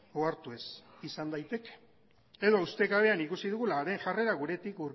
ohartu ez izan daiteke edo ustekabean ikusi dugula haren jarrera guretik